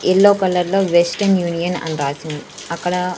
Yellow colour లో Western Union అని రాసి ఉంది అక్కడ.